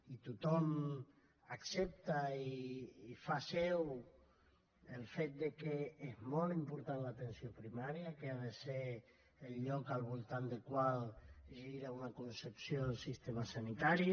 i tothom accepta i fa seu el fet que és molt important l’atenció primària que ha de ser el lloc al voltant del qual gira una concepció del sistema sanitari